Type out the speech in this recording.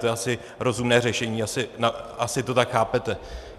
To je asi rozumné řešení, asi to tak chápete.